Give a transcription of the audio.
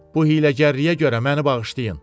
Bu hiyləgərliyə görə məni bağışlayın.